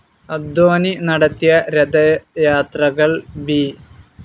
അഡ്വാണി നടത്തിയ രഥ യാത്രകൾ ബി.